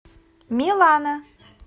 милана